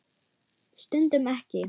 Stundum ekki.